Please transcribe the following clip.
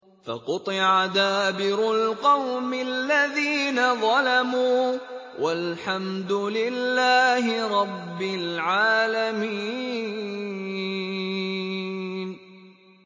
فَقُطِعَ دَابِرُ الْقَوْمِ الَّذِينَ ظَلَمُوا ۚ وَالْحَمْدُ لِلَّهِ رَبِّ الْعَالَمِينَ